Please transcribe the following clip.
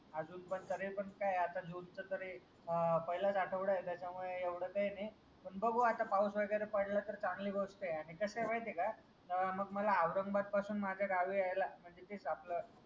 तरी अजून पण तरीपण काय आता जूनचा तरी अह पहिलाच आठवडा आहे त्याच्यामुळे एवढं काय नाही पण बघू आता पाऊस वगैरे पडला तर चांगली गोष्ट आहे आणि कसा आहे माहित आहे का अह मग मला औरंगाबाद पासून माझ्या गावी यायला कितीक आपलं